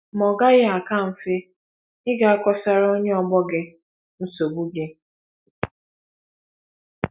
Ma ọ́ gaghị aka mfe ịga kọsara onye ọgbọ gị nsogbu gị?